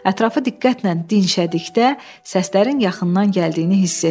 Ətrafı diqqətlə dinşədikdə, səslərin yaxından gəldiyini hiss etdi.